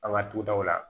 An ka dudaw la